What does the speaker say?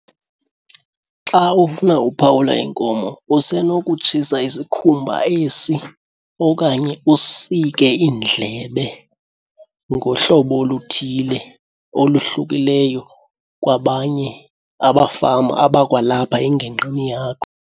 Xa ufuna uphawula inkomo usenokutshisa isikhumba esi okanye usike iindlebe ngohlobo oluthile oluhlukileyo kwabanye abafama abakwalapha engingqini yakho.